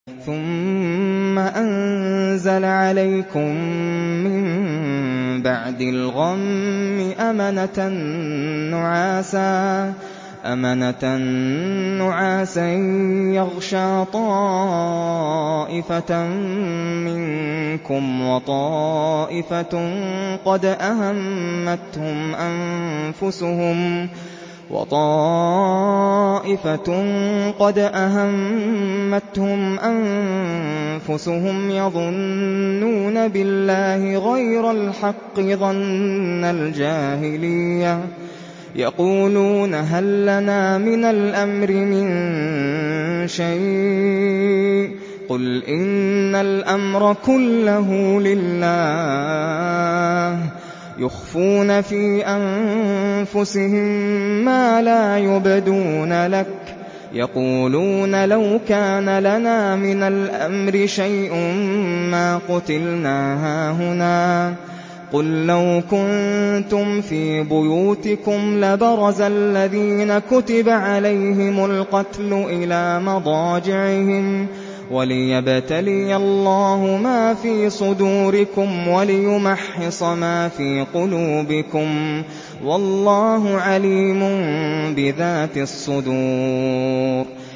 ثُمَّ أَنزَلَ عَلَيْكُم مِّن بَعْدِ الْغَمِّ أَمَنَةً نُّعَاسًا يَغْشَىٰ طَائِفَةً مِّنكُمْ ۖ وَطَائِفَةٌ قَدْ أَهَمَّتْهُمْ أَنفُسُهُمْ يَظُنُّونَ بِاللَّهِ غَيْرَ الْحَقِّ ظَنَّ الْجَاهِلِيَّةِ ۖ يَقُولُونَ هَل لَّنَا مِنَ الْأَمْرِ مِن شَيْءٍ ۗ قُلْ إِنَّ الْأَمْرَ كُلَّهُ لِلَّهِ ۗ يُخْفُونَ فِي أَنفُسِهِم مَّا لَا يُبْدُونَ لَكَ ۖ يَقُولُونَ لَوْ كَانَ لَنَا مِنَ الْأَمْرِ شَيْءٌ مَّا قُتِلْنَا هَاهُنَا ۗ قُل لَّوْ كُنتُمْ فِي بُيُوتِكُمْ لَبَرَزَ الَّذِينَ كُتِبَ عَلَيْهِمُ الْقَتْلُ إِلَىٰ مَضَاجِعِهِمْ ۖ وَلِيَبْتَلِيَ اللَّهُ مَا فِي صُدُورِكُمْ وَلِيُمَحِّصَ مَا فِي قُلُوبِكُمْ ۗ وَاللَّهُ عَلِيمٌ بِذَاتِ الصُّدُورِ